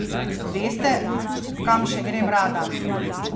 Veste, kam še grem rada?